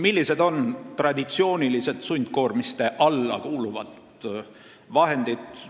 Millised on traditsioonilised sundkoormiste alla kuuluvad vahendid?